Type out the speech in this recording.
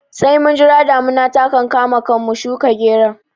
Sai mun jira damuna ta kankama kan mu shuka geron